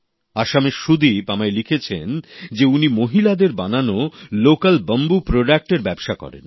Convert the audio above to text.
আসামের সুদীপ আমায় লিখেছেন যে উনি মহিলাদের বানানো বাঁশ থেকে উৎপাদিত স্থানীয় সামগ্রীর ব্যবসা করেন